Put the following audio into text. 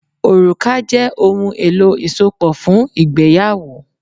Òrùka jẹ́ ohun-èlò isopo fún ìgbéyàwó.